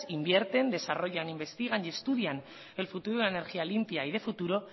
invierten desarrollan investigan y estudian el futuro de la energía limpia y de futuro